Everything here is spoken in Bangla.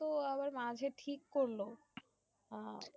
আহ তো আবার মাঝে ঠিক করলো